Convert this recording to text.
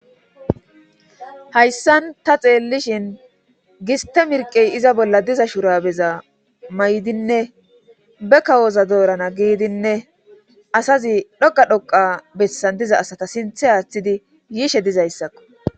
Hayssan ta xeellishin giste mirqey iza bolla diza shurabeza may7dinne be kawoza doorana giidinne asazi dhoqa dhoqa bessan diza asata sinthe aaththidi yiishe dizayssakko